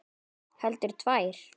Heldur tvær.